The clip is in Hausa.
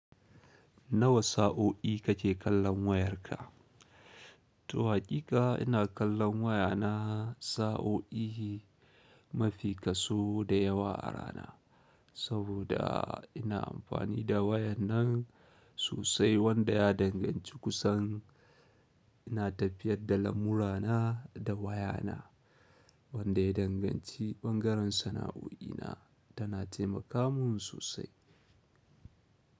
Nawa sa'o'i kake kallon wayar ka to haƙiƙa ina kallon wayana sa'o'i mafi kaso da yawa a rana. Saboda ina amfani da wayan nan sosai wanda ya danganci kusan ina tafiyar da lamurana da wayana wanda ya danganci ɓangaren sana'o'inna tana taimaka mun sosai.